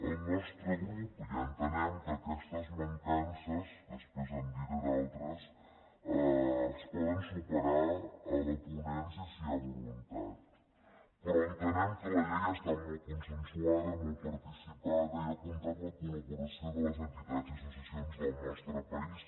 al nostre grup ja entenem que aquestes mancances després en diré d’altres es poden superar a la ponència si hi ha voluntat però entenem que la llei està molt consensuada molt participada i ha comptat amb la col·laboració de les entitats i associacions del nostre país